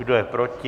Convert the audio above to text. Kdo je proti?